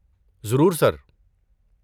ضرور، سر۔